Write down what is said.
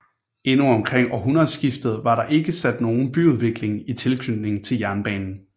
Endnu omkring århundredeskiftet var der ikke sket nogen byudvikling i tilknytning til jernbanen